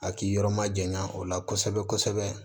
A k'i yɔrɔ ma janya o la kosɛbɛ kosɛbɛ